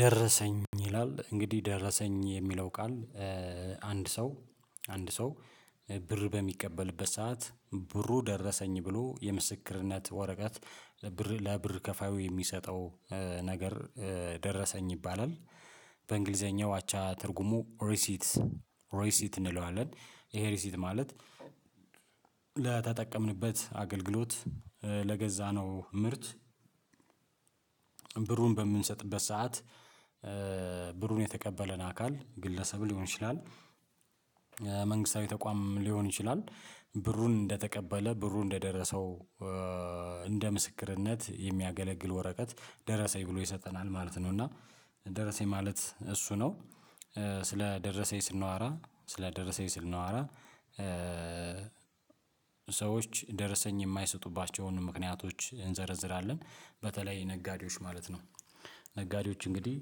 ደረሰኝ ይላል እንግዲህ ደረሰኝ የሚለው ቃል አንድ ሰው አንድ ሰው ብር በሚቀበልበት ሰዓት ብሩ ደረሰኝ ብሎ የምስክርነት ወረቀት ብር ለብር ከፋዩ የሚሰጠው ነገር ደረሰኝ ይባላል። በእንግሊዘኛው አቻ ትርጉሙ ሪሲት ሪሲት እንለዋለን ይሄ ሪሲት ማለት። ለተጠቀምንበት አገልግሎት ለገዛነው ምርት ብሩን በምንሰጥበት ሰዓት ብሩን የተቀበለን አካል ግለሰብ ሊሆን ይችላል። መንግስታዊ ተቋም ሊሆን ይችላል። ብሩን እንደተቀበለ ብሩ እንደደረሰው እንደ ምስክርነት የሚያገለግል ወረቀት ደረሰኝ ብሎ ይሰጠናል ማለት ነው። እና ደረሰኝ ማለት እሱ ነው። ስለደረሰኝ ስናወራ ስለደረሰኝ ስናወራ ሰዎች ደርሰኝ የማይሰጡባቸውን ምክንያቶች እንዘረዝራለን በተለይ ነጋዴዎች ማለት ነው። ነጋዴዎች እንግዲህ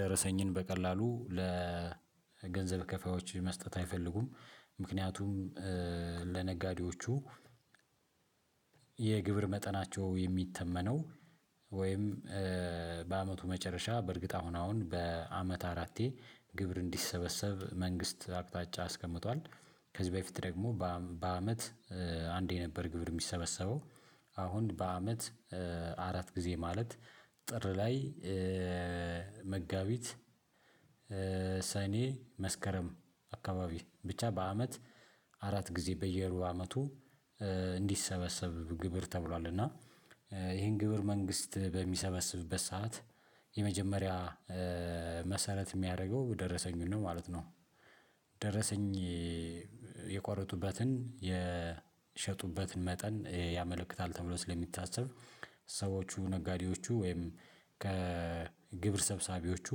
ደረሰኝን በቀላሉ ለገንዘብ ከፋዮች መስጠት አይፈልጉም። ምክንያቱም ለነጋዴዎቹ የግብር መጠናቸው የሚተመነው ወይም በአመቱ መጨረሻ በእርግጥ አሁን አሁን በአመት አራቴ ግብር እንዲሰበሰብ መንግስት አቅጣጫ አስቀምጧል። ከዚህ በፊት ደግሞ በአመት አንዴ የነበር ግብር የሚሰበሰበው አሁን በአመት አራት ጊዜ ማለት ጥር ላይ መጋቢት ሰኔ መስከረም አካባቢ ብቻ በአመት አራት ጊዜ በየሩብ አመቱ እንዲሰበሰብ ግብር ተብሏል። እና ይሄን ግብር መንግስት በሚሰበስብበት ሰዓት የመጀመሪያ መሰረት የሚያደርገው ደረሰኙን ነው ማለት ነው። ደረሰኝ የቆረጡበትን የሸጡበትን መጠን ያመለክታል። ተብሎ ስለሚታሰብ ሰዎቹ ነጋዴዎቹ ወይም ከግብር ሰብሳቢዎቹ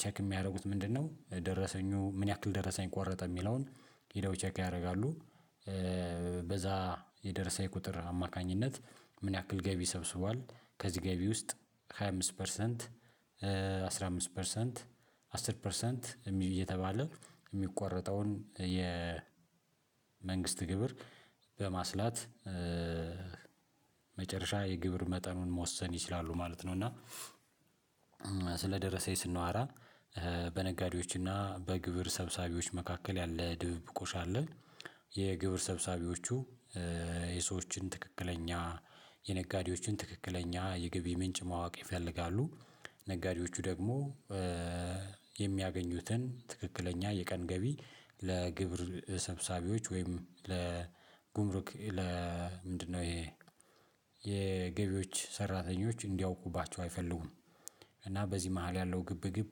ቼክ የሚያደርጉት ምንድነው? ደረሰኙ ምን ያክል ደረሰኝ ቆረጠ የሚለውን ሄደው ቼክ ያደርጋሉ። በዛ የደረሰኝ የቁጥር አማካኝነት ምን ያክል ገቢ ሰብስቧል። ከዚህ ገቢ ውስጥ ሃያ አምስት ፐርሰንት አስራ አምስት ፐርሰንት አሥር ፐርሰንት እየተባለ የሚቆረጠውን የመንግስት ግብር በማስላት መጨረሻ የግብር መጠኑን መወሰን ይችላሉ ማለት ነው። እና ስለደረሰኝ ስናወራ በነጋዴዎችና በግብር ሰብሳቢዎች መካከል ያለ ድብብቆሽ አለ። የግብር ሰብሳቢዎቹ የሰዎችን ትክክለኛ የነጋዴዎችን ትክክለኛ የገቢ ምንጭ ማወቅ ይፈልጋሉ። ነጋዴዎቹ ደግሞ የሚያገኙትን ትክክለኛ የቀን ገቢ ለግብር ሰብሳቢዎች ወይም ለጉምሩክ ለምንድነው ይሄ የገቢዎች ሰራተኞች እንዲያውቁባቸው አይፈልጉም። እና በዚህ መሃል ያለው ግብግብ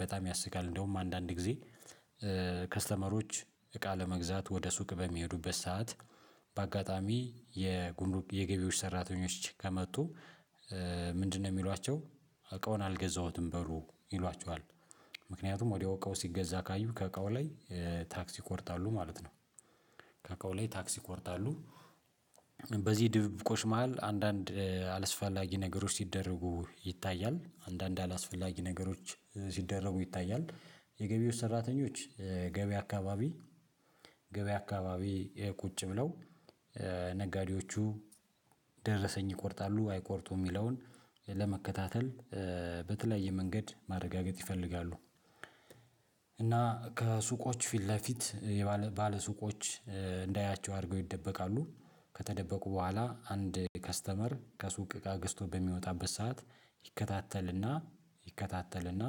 በጣም ያስቃል። እንደውም አንዳንድ ጊዜ ከስተመሮች እቃ ለመግዛት ወደ ሱቅ በሚሄዱበት ሰዓት በአጋጣሚ የገቢዎች ሰራተኞች ከመጡ። ምንድነው የሚሏቸው? እቃውን አልገዛሁትም በሉ ይሏቸዋል። ምክንያቱም ወዲያው እቃው ሲገዛ ካዩ ከቀው ላይ ታክስ ይቆርጣሉ ማለት ነው። ከቀው ላይ ታክሲ ይቆርጣሉ። በዚህ ድብቁሽ መሃል አንዳንድ አላስፈላጊ ነገሮች ሲደረጉ ይታያል አንዳንድ አላስፈላጊ ነገሮች ሲደረጉ ይታያል። የገቢው ሰራተኞች ገቢ አካባቢ ገበያ አካባቢ ይሄ ቁጭ ብለው ነጋዴዎቹ ደረሰኝ ይቆርጣሉ አይቆርጡም የሚለውን ለመከታተል በተለያየ መንገድ ማረጋገጥ ይፈልጋሉ። እና ከሱቆች ፊት ለፊት ባለሱቆች እንዳያያቸው አድርገው ይደበቃሉ። ከተደበቁ በኋላ አንድ ከስተመር ከሱቅ እቃ ግዝቶ በሚወጣበት ሰዓት ይከታተልና ይከታተልና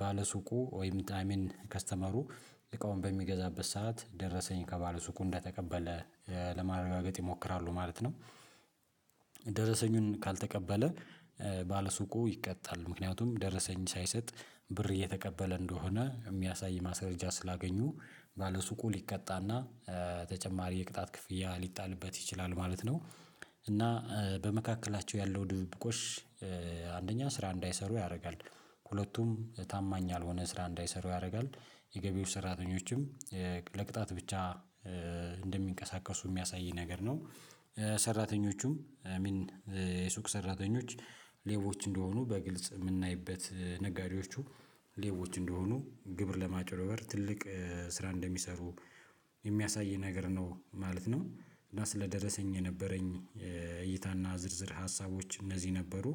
ባለሱቁ ወይም ከስተመሩ እቃውን በሚገዛበት ሰዓት ደረሰኝ ከባለ ሱቁ እንደተቀበለ ለማረጋገጥ ይሞክራሉ ማለት ነው። ደረሰኙን ካልተቀበለ ባለሱቁ ይቀጣል ምክንያቱም ደረሰኝ ሳይሰጥ ብር እየተቀበለ እንደሆነ የሚያሳይ ማስረጃ ስላገኙ ባለሱቁ ሊቀጣና ተጨማሪ የቅጣት ክፍያ ሊጣልበት ይችላል ማለት ነው። እና በመካከላቸው ያለው ድብቁሽ አንደኛ ስራ እንዳይሰሩ ያደርጋል። ሁለቱም ታማኝ ያልሆነ ስራ እንዳይሰሩ ያደርጋል። የገቢዎች ሰራተኞችም ለቅጣት ብቻ እንደሚንቀሳቀሱ የሚያሳይ ነገር ነው። ሰራተኞቹም የሱቅ ሰራተኞች ሌቦች እንደሆኑ በግልጽ የምናይበት ነጋዴዎቹ ሌቦች እንደሆኑ ግብር ለማጭበር ትልቅ ስራ እንደሚሰሩ የሚያሳይ ነገር ነው ማለት ነው። እና ስለደረሰኝ የነበረኝ እይታና ዝርዝር ሀሳቦች እነዚህ ነበሩ